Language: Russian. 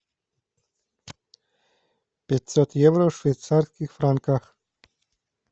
пятьсот евро в швейцарских франках